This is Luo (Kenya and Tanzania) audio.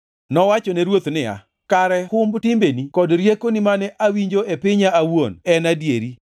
Nowachone ruoth niya, “Kare humb timbeni kod riekoni mane awinjo e pinya awuon en adier!